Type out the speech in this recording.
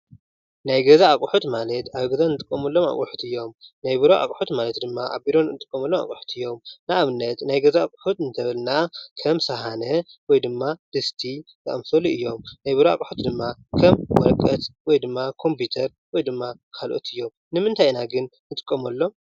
ናይ ገዛ ኣቁሑት ማለት ኣብ ገዛ እንጥቀመሎም ኣቁሑት እዮም ። ናይ ቢሮ ኣቁሑት ማለት ድማ ኣብ ቢሮ እንጥቀመሎም ኣቁሑት ማለት እዮም ። ንኣብነት :-ናይ ገዛ ኣቁሑት እንተበልና ከም ሸሓነ ወይ ድማ ድስቲ ዝኣመሰሉ እዮም ። ናይ ቢሮ ኣቁሑት ድማ ከም ወረቀት ወይ ድማ ኮምቢተር ወይ ድማ ካልኦት እዮም ። ንምንታይ ኢና ግን ንጥቀመሎም ?